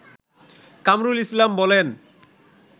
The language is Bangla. কামরুল ইসলাম বলেন